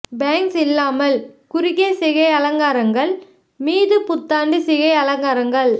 banks இல்லாமல் குறுகிய சிகை அலங்காரங்கள் மீது புத்தாண்டு சிகை அலங்காரங்கள்